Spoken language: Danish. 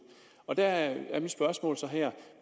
og der er mit spørgsmål så her